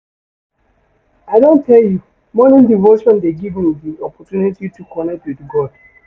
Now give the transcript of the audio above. I don tell you, morning devotion dey give me di opportunity to connect wit God.